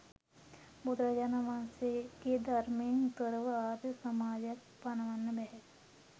බුදුරජාණන් වහන්සේගේ ධර්මයෙන් තොරව ආර්ය සමාධියක් පණවන්න බැහැ.